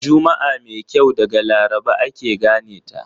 Juma'a mai kyau daga Laraba ake gane ta.